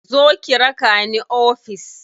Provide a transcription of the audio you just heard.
Zo ki raka ni ofis.